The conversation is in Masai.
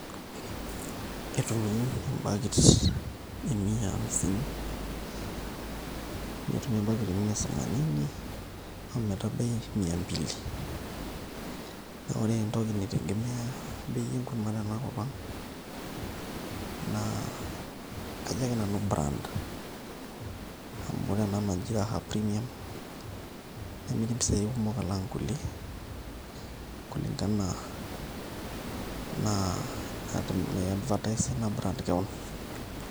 Etumi embakit e mia amisini, netumi embaki e mia samanini o metabai mia mbili. Naa ore entoki naitegemea bei enkurma tenakop ang' naa ajo ake nanu brand amu ore ena naji Raha Premium nemiri mpisaai kumok alang' nkulie kulingana enaa naiadvertiser ina brand keon.